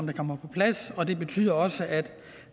kommer på plads og det betyder også at